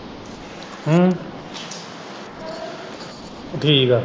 ਠੀਕ ਆ।